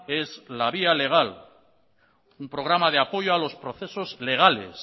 es la vía legal un programa de apoyo a los procesos legales